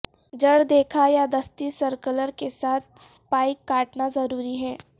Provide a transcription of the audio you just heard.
جڑ دیکھا یا دستی سرکلر کے ساتھ سپائیک کاٹنا ضروری ہے